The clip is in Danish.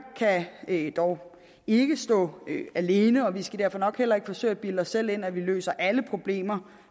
kan dog ikke stå alene og vi skal nok heller ikke forsøge at bilde os selv ind at vi løser alle problemer